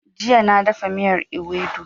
Jiya na dafa miyar Iwedu